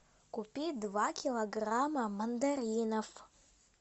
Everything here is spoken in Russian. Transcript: купи два килограмма мандаринов